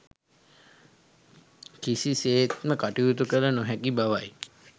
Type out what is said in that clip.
කිසිසේත්ම කටයුතු කළ නොහැකි බවයි.